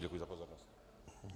Děkuji za pozornost.